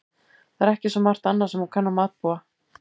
Það er ekki svo margt annað sem hún kann að matbúa.